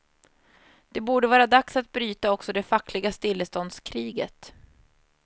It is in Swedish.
Det borde vara dags att bryta också det fackliga stilleståndskriget.